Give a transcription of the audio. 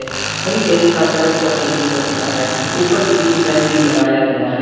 थवि desk का colour चॉकलेटी colour का है ऊपर सीलिंग फैन भी लगाया गया है।